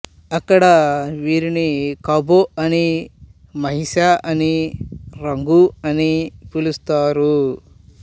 అక్కడ వీరిని ఖ్బో అని మహిస అని రంఘ అని పిలుస్తారు